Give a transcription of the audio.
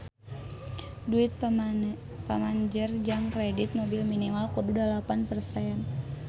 Duit pamanjer jang kredit mobil minimal kudu dalapan persen